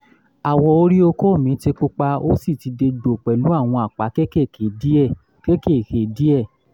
awọ orí okó mi ti pupa ó sì ti dégbò pẹ̀lú àwọn àpá kéékèèké díẹ̀ kéékèèké díẹ̀